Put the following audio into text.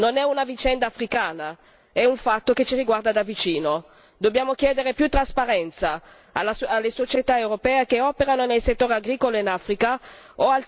Dobbiamo chiedere più trasparenza alle società europee che operano nel settore agricolo in Africa o al settore privato maggior consapevolezza nei propri codici di condotta.